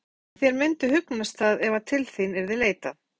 Fréttamaður: En þér myndi hugnast það ef að til þín yrði leitað?